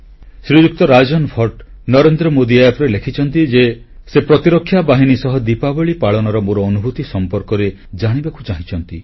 ଶ୍ରୀଯୁକ୍ତ Rajan Bhatt NarendraModiApp ରେ ଲେଖିଛନ୍ତି ଯେ ସେ ପ୍ରତିରକ୍ଷା ବାହିନୀ ସହ ଦୀପାବଳୀ ପାଳନର ମୋର ଅନୁଭୂତି ସମ୍ପର୍କରେ ଜାଣିବାକୁ ଚାହୁଁଛନ୍ତି